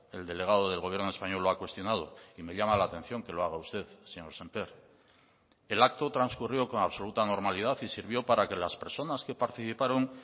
el delegado del gobierno español lo ha cuestionado y me llama la atención que lo haga usted señor sémper el acto transcurrió con absoluta normalidad y sirvió para que las personas que participaron